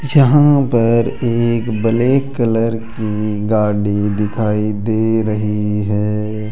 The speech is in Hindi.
यहां पर एक ब्लैक कलर की गाड़ी दिखाई दे रही है।